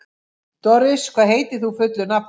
Doris, hvað heitir þú fullu nafni?